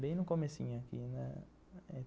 Bem no comecinho aqui, né?